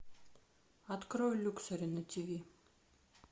открой люксори на тиви